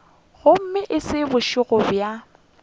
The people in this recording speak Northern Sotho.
gomme e se bošego bja